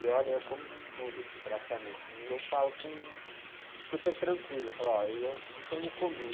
E olha, eu como de tudo, assim, praticamente, e eu falo com super tranquilo, eu falo, olha, isso eu não comi.